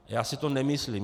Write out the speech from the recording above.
Já si to nemyslím.